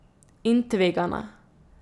In tvegana.